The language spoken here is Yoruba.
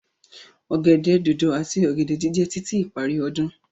Ọ̀gẹ̀dẹ̀ dodo ati ọ̀gẹ̀dẹ̀ jíjẹ títí ìparí ọdún.